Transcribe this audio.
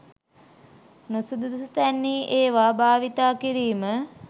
නුසුදුසු තැන්හි ඒවා භාවිතා කිරීම